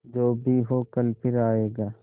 जो भी हो कल फिर आएगा